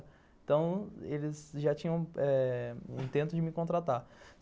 Então, eles já tinham eh intento de me contratar.